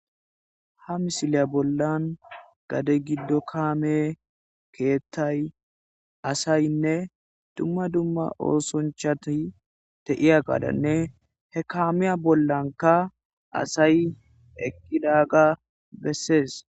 ha misiliya bollan gade giddo kaame keettay asaynne dumma dumma oosonchati teiya gaadanne he kaamiya bollanka asay ekkidaga bessees